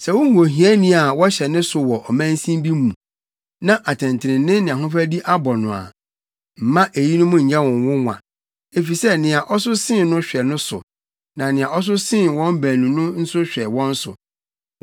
Sɛ wuhu ohiani a wɔhyɛ ne so wɔ ɔmansin bi mu, na atɛntrenee ne ahofadi abɔ no a, mma eyinom nyɛ wo nwonwa, efisɛ nea ɔso sen no hwɛ no so, na nea ɔso sen wɔn baanu no nso hwɛ wɔn so.